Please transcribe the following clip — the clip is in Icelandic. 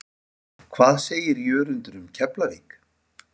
Hvað segir Jörundur um Keflavík?